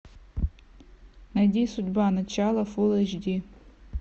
найди судьба начало фул эйч ди